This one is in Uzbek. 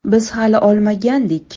Biz hali olmagandik.